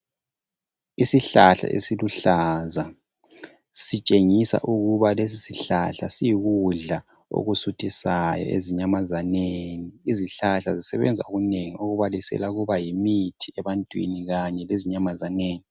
Isihlahla esiluhlaza sitshengisa ukuba lesi sihlahla siyikudla okusuthisayo ezinyamazaneni. Izihlahla zisebenza okunengi okubalisela ukuba yimithi ebantwini kanye lezinyamazaneni.